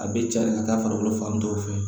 A bɛ caya ka taa farikolo fan dɔw fɛ